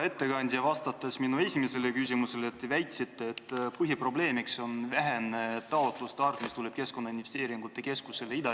Hea ettekandja, vastates minu esimesele küsimusele te väitsite, et põhiprobleemiks on nende taotluste vähesus, mis tulevad Ida-Virumaalt Keskkonnainvesteeringute Keskusele.